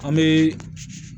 An bɛ